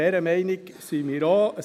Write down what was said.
Dieser Meinung sind wir auch.